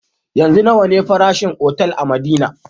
Yanzu nawa ne farashin otal a madina